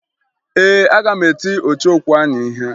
Ee, aga m eti ọchọokwu ahụ ihe